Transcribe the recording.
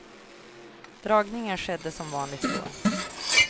Dragningen skedde som vanligt i går.